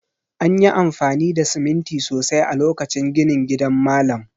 An yi amfani da siminti sosai a lokacin ginin gidan malam